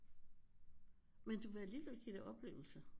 Men du vil alligevel give det oplevelser